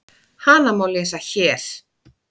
Hana má lesa HÉR.